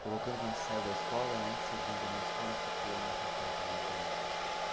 Colocando quando você saiu da escola, né, que você abandonou a escola e ficou ali onde você estava comentando.